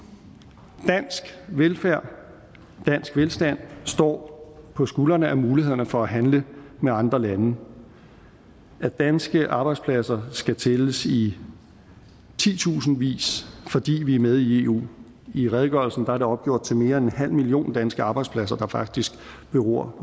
dansk velfærd og dansk velstand står på skuldrene af mulighederne for at handle med andre lande og danske arbejdspladser skal tælles i titusindvis fordi vi er med i eu i redegørelsen er det opgjort til mere end en halv million danske arbejdspladser der faktisk beror